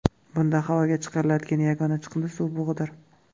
Bunda havoga chiqariladigan yagona chiqindi suv bug‘idir.